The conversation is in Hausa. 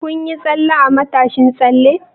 Kun yi tsalle a matashin tsalle?